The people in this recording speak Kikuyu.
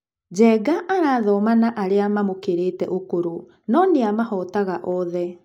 Njenga arathoma na arĩa mamũkĩrĩte ũkũrũ no-nĩamahootaga othe.